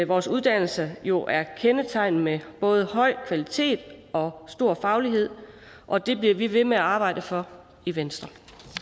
vores uddannelse jo kendetegnet med både høj kvalitet og stor faglighed og det bliver vi ved med at arbejde for i venstre